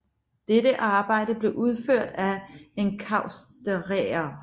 Dette arbejde blev udført af enkausterere